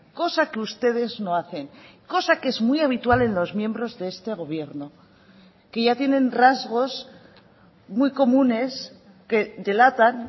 cosa que ustedes no hacen cosa que es muy habitual en los miembros de este gobierno que ya tienen rasgos muy comunes que delatan